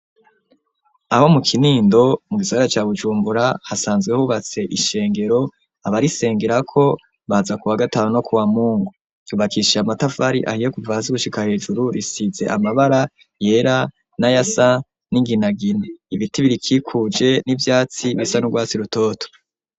aho mu kinindo mu gisagara cya bujumbura hasanzwe hubatse ishengero abarisengera ko baza ku wa gatanu no ku wa mungu yubakishiye amatavari ahiye kuva hazigushika hejuru risize amabara yera na yasan n'inginagin ibiti birikikuje n'ibyatsi bisa n'urwatsi rutoto